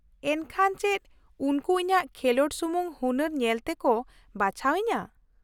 ᱼᱮᱱᱠᱷᱟᱱ ᱪᱮᱫ ᱩᱱᱠᱩ ᱤᱧᱟᱹᱜ ᱠᱷᱮᱞᱚᱸᱰ ᱥᱩᱢᱩᱝ ᱦᱩᱱᱟᱹᱨ ᱧᱮᱞ ᱛᱮᱠᱚ ᱵᱟᱪᱷᱟᱣ ᱤᱧᱟᱹ ?